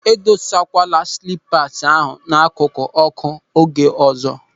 Edosakwala silipas ahụ n'akụkụ ọ́kụ́ oge ọzọ!